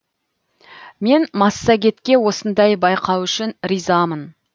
мен массагетке осындай байқау үшін ризамын